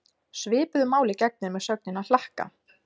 Svipuðu máli gegnir með sögnina hlakka.